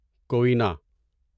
کوینا